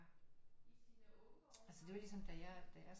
Altså det var ligesom da jeg da jeg